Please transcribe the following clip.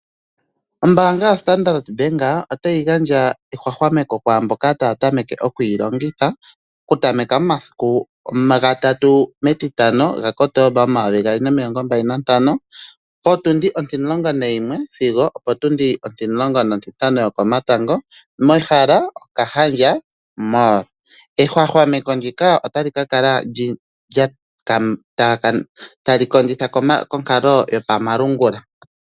Ombaanga yaStandard bank otayi gandja ehwahwameko kwaamboka taya tameke okuyilongitha okutameka momasiku 3 Kotomba 2025, mEtitano po11:00 sigo opo17:00 mehala Okahandja mall. Ehwahwameko ndika ota li ka kala tali kondjitha konkalo yopamalungula.